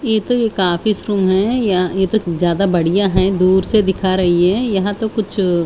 ये तो एक ऑफिस रूम है ये तो ज्यादा बढ़िया है दूर से दिखा रही है ये तो कुछ --